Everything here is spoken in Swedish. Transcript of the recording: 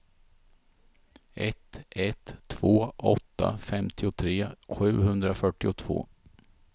ett ett två åtta femtiotre sjuhundrafyrtiotvå